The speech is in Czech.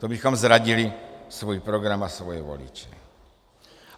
To bychom zradili svůj program a svoje voliče.